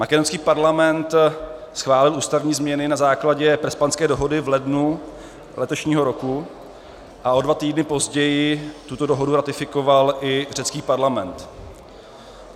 Makedonský parlament schválil ústavní změny na základě Prespanské dohody v lednu letošního roku a o dva týdny později tuto dohodu ratifikoval i řecký parlament.